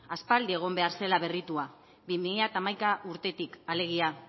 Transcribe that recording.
aspaldi egon behar zela berritua bi mila hamaika urtetik alegia